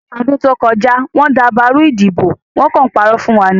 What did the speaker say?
Ní ọdún tó kọjá, wọ́n dàbàrú ìdìbò, wọ́n kàn ń parọ́ fún wa ni